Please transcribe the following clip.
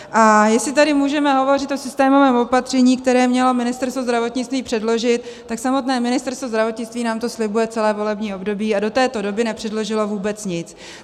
A jestli tady můžeme hovořit o systémovém opatření, které mělo Ministerstvo zdravotnictví předložit, tak samotné Ministerstvo zdravotnictví nám to slibuje celé volební období a do této doby nepředložilo vůbec nic.